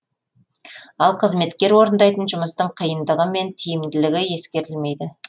ал қызметкер орындайтын жұмыстың қиындығы мен тиімділігі ескерілмейді